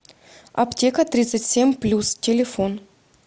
аптека тридцать семь плюс телефон